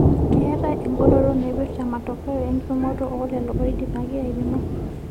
Keetae engoloto naipirta matokeo enkipimoto oo lelo oidipaki aipimo.